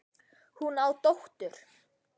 Hún á dóttur.